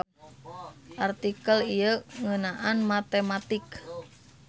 Artikel ieu ngeunaan matematik.